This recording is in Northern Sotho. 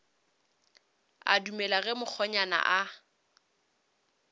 a dumele ge mokgonyana a